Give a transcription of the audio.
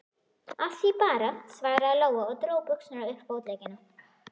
Af því bara, svaraði Lóa og dró buxurnar upp fótleggina.